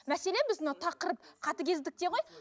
мәселен біз мына тақырып қатыгездікте ғой